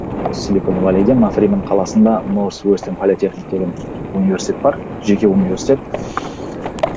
осы махривен қаласында деген университет бар жеке университет